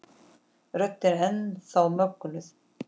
Röddin er enn þá mögnuð.